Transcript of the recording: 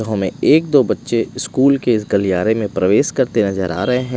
हमें एक दो बच्चे स्कूल के इस गलियारे में प्रवेश करते नजर आ रहे हैं।